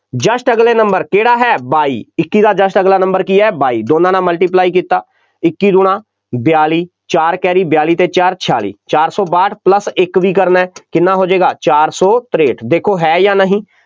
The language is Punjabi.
just ਅਗਲੇ number ਕਿਹੜਾ ਹੈ ਬਾਈ, ਇੱਕੀ ਦਾ just ਅਗਲਾ number ਕੀ ਹੈ ਬਾਈ, ਦੋਨਾਂ ਨਾਲ multiply ਕੀਤਾ, ਇੱਕੀ ਦੂਣਾ ਬਿਆਲੀ, ਚਾਰ carry ਬਿਆਲੀ ਅਤੇ ਚਾਰ, ਛਿਆਲੀ, ਚਾਰ ਸੌ ਬਾਹਟ plus ਇੱਕ ਵੀ ਕਰਨਾ, ਕਿੰਨਾ ਹੋ ਜਾਏਗਾ, ਚਾਰ ਸੌ ਤਰੇਂਹਠ, ਦੇਖੌ ਹੈ ਜਾਂ ਨਹੀਂ,